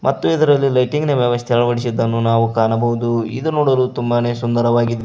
ಮತ್ತು ಇದರಲ್ಲಿ ಲೈಟಿಂಗ್ ನಾ ವ್ಯವಸ್ಥೆ ಅಳವಡಿಸಿದ್ದನ್ನು ನಾವು ಕಾಣಬೋದು ಇದು ನೋಡಲು ತುಂಬಾನೇ ಸುಂದರವಾಗಿ--